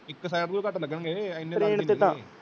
ਇਕ ਸੀੜੇ ਤੋਂ ਵੀ ਕੱਟ ਲਗਣਗੇ